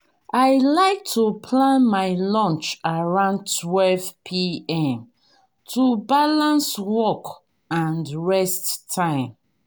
i like to plan my lunch around 12pm to balance work and rest time.